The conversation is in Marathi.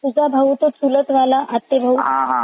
चालेल कोणचा भाऊ तुझा भाऊ आहे काय?